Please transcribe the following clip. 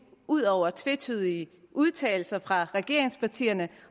udover tvetydige udtalelser fra regeringspartierne